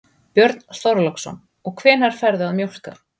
Björn Þorláksson: Og hvenær ferðu að mjólka?